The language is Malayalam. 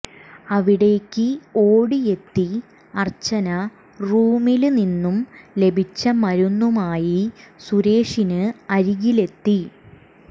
അവിടേക്ക് ഓടിയെത്തി അർച്ചന റൂമില് നിന്നും ലഭിച്ച മരുന്നുമായി സുരേഷിന് അരികിലെത്തി